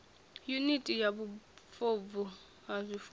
yuniti ya vhufobvu ha zwifuwo